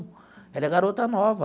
Ela é garota nova.